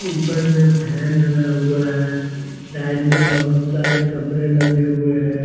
ऊपर में फेन लगा हुआ है साइड में बहोत सारे कपड़े लगे हुए है।